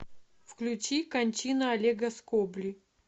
включи кончина олега скобли